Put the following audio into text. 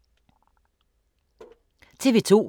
TV 2